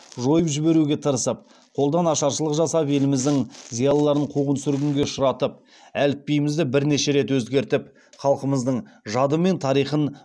жойып жіберуге тырысып қолдан ашаршылық жасап еліміздің зиялыларын қуғын сүргінге ұшыратып әліпбиімізді бірнеше рет өзгертіп халқымыздың жады мен тарихын